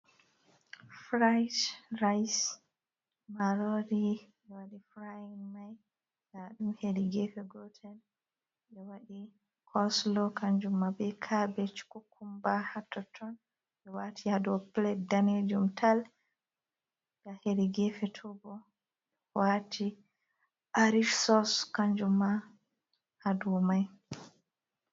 Frde rice marori ɓe waɗi frying mai ndaɗum hedi gefe gotel ɓe waɗi coslo kanjum ma be kabej kukumba hattoton ɓe wati hado plate danejum tal, ha hedi gefe towbo ɓe wati arish sos kanjumma hadow mai.